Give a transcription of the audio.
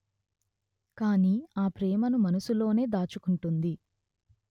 కాని ఆ ప్రేమను మనసులోనే దాచుకుంటుంది